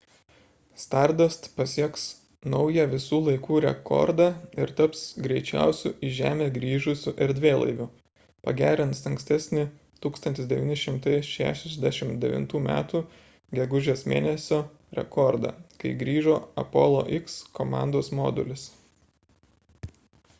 stardust pasieks naują visų laikų rekordą ir taps greičiausiu į žemę grįžusiu erdvėlaiviu pagerins ankstesnį 1969 m gegužės mėn. rekordą kai grįžo apollo x komandos modulis